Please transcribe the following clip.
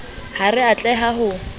ha re a tleha ho